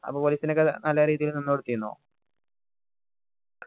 police ന് ഒക്കെ നല്ല രീതിയില് നിന്നോടത്തിനോ